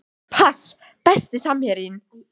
pass Besti samherjinn?